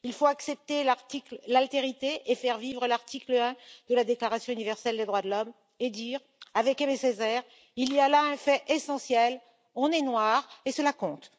Il faut accepter l'altérité et faire vivre l'article 1er de la déclaration universelle des droits de l'homme et dire, avec Aimé Césaire, il y a là un fait essentiel, on est noir et cela compte.